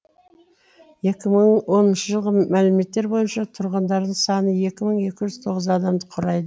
екі мың оныншы жылғы мәліметтер бойынша тұрғындарының саны екі мың екі жүз тоғыз адамды құрайды